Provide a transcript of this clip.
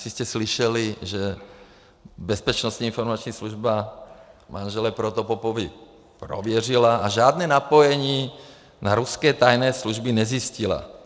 Asi jste slyšeli, že Bezpečnostní informační služba manžele Protopopovy prověřila a žádné napojení na ruské tajné služby nezjistila.